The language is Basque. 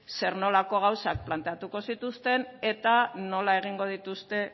zer nolako gauzak planteatuko zituzten eta nola egingo dituzte